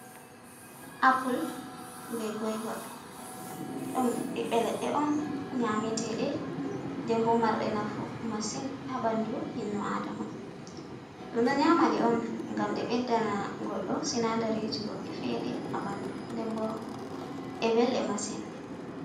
Apale be goyver dum ɓeɓɓeleɗe on nyameteɗee, dembo marɗe nafu masin habandu innu adama, ɗum ɗo nyama ɗe on gam ɗe ɓeddana goɗɗo sinadariji goɗɗi fere ha bandu nden bo ɗe belɗe masin.